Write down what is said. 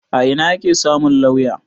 A ina ake samu lauya?